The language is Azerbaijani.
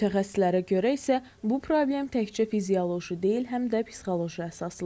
Mütəxəssislərə görə isə bu problem təkcə fizioloji deyil, həm də psixoloji əsaslıdır.